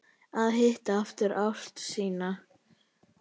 Að hitta aftur ástina sína